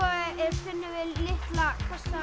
finnum við litla kassa